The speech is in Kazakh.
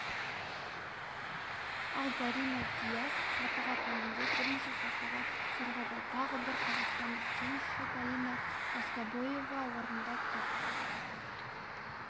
ал зарина дияс сатыға төмендеп бірнеше сатыға сырғыды тағы бір қазақстандық теннисші галина воскобоева орында тұр